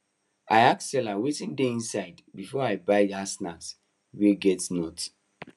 i ask seller wetin dey inside before i buy that snack wey get nuts